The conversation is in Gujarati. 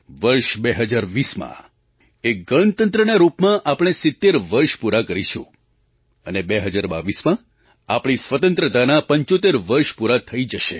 વર્ષ 2020માં એક ગણતંત્રના રૂપમાં આપણે 70 વર્ષ પૂરાં કરીશું અને 2022માં આપણી સ્વતંત્રતાનાં 75 વર્ષ પૂરાં થઈ જશે